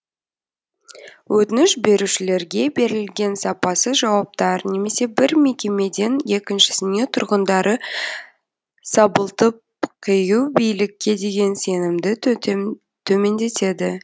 өтініш берушілерге берілген сапасыз жауаптар немесе бір мекемеден екіншісіне тұрғындары сабылтып қию билікке деген сенімді төмендетеді